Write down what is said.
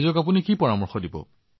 আনসকল লোকে যি প্ৰতিষেধক গ্ৰহণ কৰিছে